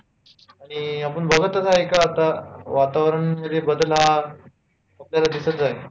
आणि आपण बघतच आहे का आता वातावरण मध्ये बदल हा आपल्याला दिसत आहे